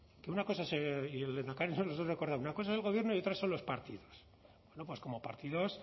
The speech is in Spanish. que una cosa es y el lehendakari nos lo ha recordado una cosa es el gobierno y otras son los partidos bueno pues como partidos